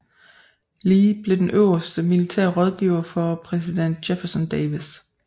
Lee blev den øverste militære rådgiver for præsident Jefferson Davis